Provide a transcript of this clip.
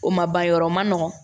O ma ban yɔrɔ ma nɔgɔn